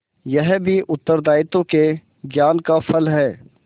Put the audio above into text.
यह भी उत्तरदायित्व के ज्ञान का फल है